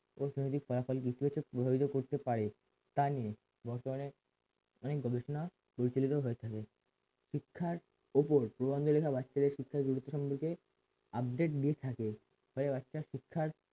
অর্থনৈতিক ফলাফল ইতিবাচক করতে পারে তা নিয়ে বর্তমানে অনেক গবেষণা প্রচলিত হয়ে থাকে শিক্ষার ওপর প্রবন্ধ লেখা বাচ্চাদের শিক্ষার গুরুত্ব সম্পর্কে update দিয়ে থাকে ফলে বাচ্চারা শিক্ষার